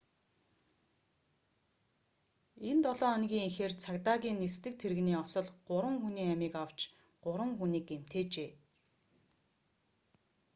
энэ долоо хоногийн эхээр цагдаагийн нисдэг тэрэгний осол гурван хүний амийг авч гурван хүнийг гэмтээжээ